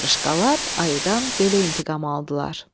Qarışqalar ayıdan belə intiqam aldılar.